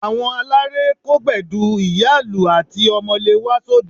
Àwọn aláré kó Gbẹ̀du, ìyá-ìlù àti Omele wá sóde